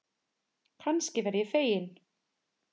Kannski verð ég fegin.